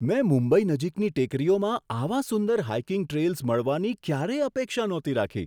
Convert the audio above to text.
મેં મુંબઈ નજીકની ટેકરીઓમાં આવા સુંદર હાઇકિંગ ટ્રેલ્સ મળવાની ક્યારેય અપેક્ષા નહોતી રાખી.